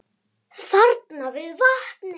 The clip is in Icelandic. Þarna við vatnið.